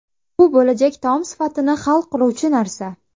Bu bo‘lajak taom sifatini hal qiluvchi narsa.